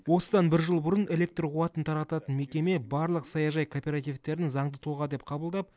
осыдан бір жыл бұрын электр қуатын тарататын мекеме барлық саяжай кооперативтерін заңды тұлға деп қабылдап